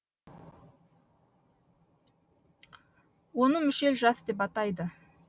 оны мүшел жас деп атайды